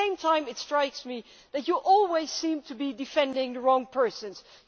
At the same time, it strikes me that you always seem to be defending the wrong people.